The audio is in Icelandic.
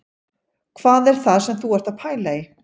Hvað er það sem þú ert að pæla í